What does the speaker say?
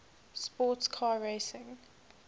sports car racing